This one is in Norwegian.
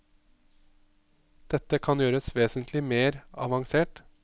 Dette kan gjøres vesentlig mer avansert.